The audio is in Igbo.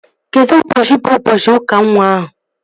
Kedụ ụbọchị bụ ụbọchị ụka nwa ahụ?